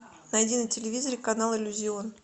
найди на телевизоре канал иллюзион